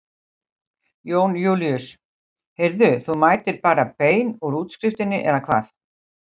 Jón Júlíus: Heyrðu þú mætir bara bein úr útskriftinni eða hvað?